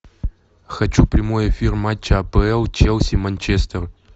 хочу прямой эфир матча апл челси манчестер